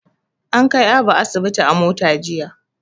An kai Abu asibi a mota jiya.